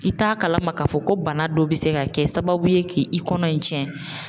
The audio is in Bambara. I t'a kalama ka fɔ ko bana dɔ be se ka kɛ sababu ye k'i kɔnɔ in tiɲɛ.